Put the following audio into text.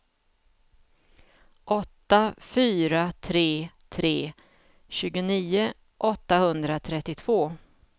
åtta fyra tre tre tjugonio åttahundratrettiotvå